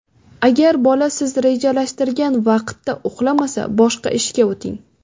Agar bola siz rejalashtirgan vaqtda uxlamasa, boshqa ishga o‘ting.